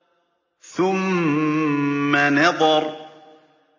ثُمَّ نَظَرَ